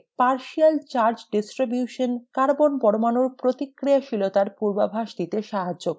partial charge distribution carbon পরমাণুর প্রতিক্রিয়াশীলতার পূর্বাভাস দিতে সহায়তা করে